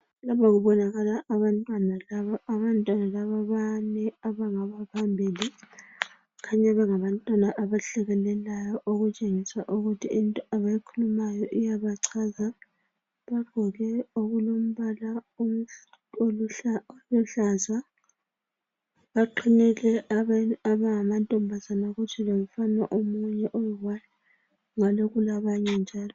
Lapha kubonakala abantwana laba. Abantwana laba bane abangabaphambili. Kukhanya bengabantwana abahlabelelayo okutshengisa ukuthi into abayikhulumayo iyabachaza. Bagqoke okulombala oluhlaza. Baqhinile abanye abangamantombazane kutsho lomfana omunye oyione ngale kulabanye njalo.